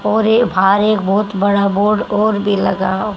और ये भार एक बहोत बड़ा बोर्ड और भी लगा--